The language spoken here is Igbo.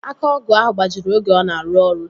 Aka ọgụ ahụ gbajiri oge ọ na-arụ ọrụ